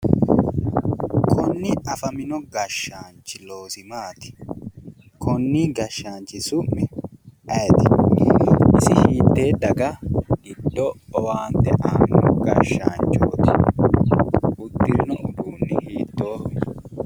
Konne afamino gashshaanchi loosi maati? konni gashshaanchi su'mi ayeeti? isi hittee daga giddo owaante aanno gashshaanchooti? Uddirino uduunni hiittoho?